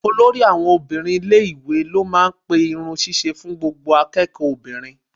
Olórí àwọn obìnrin ilé-ìwé ló máa ń pe irun ṣíṣe fún gbogbo akẹ́kọ̀ọ́ obìnrin.